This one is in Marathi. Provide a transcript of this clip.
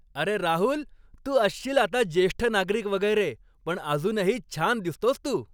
अरे राहुल, तू असशील आता ज्येष्ठ नागरिक वगैरे, पण अजूनही छान दिसतोस तू.